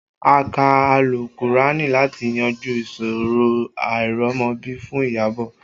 A kà àlùkùránì láti yanjú ìṣòro àìrọ́mọbí fún Iyabọ̀